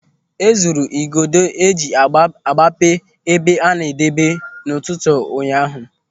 E zuru igodo eji agbape ebe a na-adebe n'ụtụtụ ụnyaahụ.